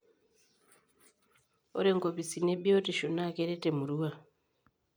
Ore inkopisini ebiotisho naa kerer emurua.